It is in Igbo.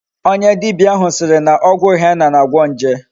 Onye dibia ahu siri na ogwu henna na-agwo nje